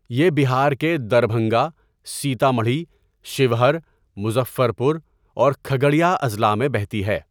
یہ بہار کے دربھنگہ، سیتامڑھی، شیوہر، مظفر پور اور کھگڑیا اضلاع میں بہتی ہے۔